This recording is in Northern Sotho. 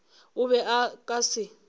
o be a ka se